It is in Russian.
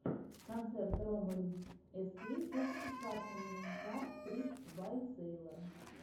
концерт роммель эскей фокусы с картами кард трикс бай сэйлор у тебя будет